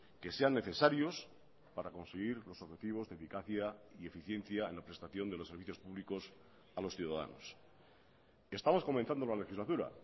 que sean necesarios para conseguir los objetivos de eficacia y eficiencia en la prestación de los servicios públicos a los ciudadanos estamos comenzando la legislatura